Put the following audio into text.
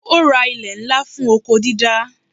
Ó ra ilè ńlá fún oko dídá.